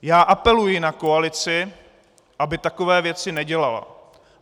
Já apeluji na koalici, aby takové věci nedělala.